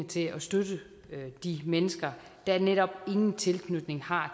til at støtte de mennesker der netop ingen tilknytning har